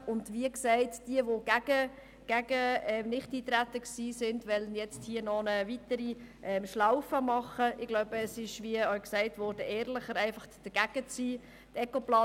An alle, die für das Nichteintreten waren und noch eine weitere Schlaufe im Prozess machen wollen: Es wäre ehrlicher, einfach dagegen zu sein.